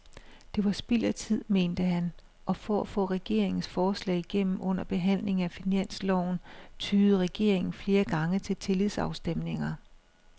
Det var spild af tid, mente han, og for at få regeringens forslag igennem under behandlingen af finansloven tyede regeringen flere gange til tillidsafstemninger.